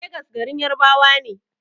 Legas garin Yarabawa ne.